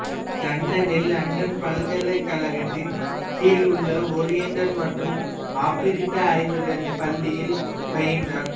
லண்டனில் லண்டன் பல்கலைக்கழகத்தின் கீழ் உள்ள ஓரியண்டல் மற்றும் ஆப்பிரிக்க ஆய்வுகள் பள்ளியில் பயின்றார்